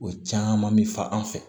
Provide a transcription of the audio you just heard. O caman bɛ fa an fɛ